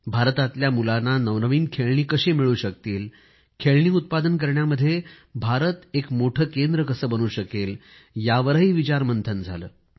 भारतातल्या मुलांना नवनवीन खेळणी कशी मिळू शकतील खेळणी उत्पादन करण्यामध्ये भारत एक मोठे केंद्र कसे बनू शकेल यावर आम्ही विचार मंथन केले